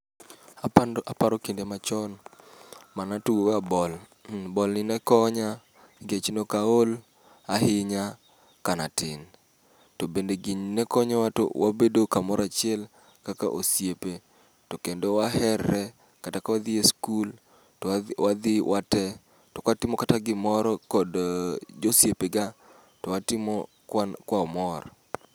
Apando aparo kinde machon, manatugo ga bol. Mmh bol ni ne konya nikech noka ol ahinya kana tin. To bende gini ne konyowa to wabedo kamorachiel kaka osiepe, to kendo waherre kata ka wadhi e skul to wadh wadhi wate. To kwatimo kata gimoro kod josiepega, twatimo kwa mor.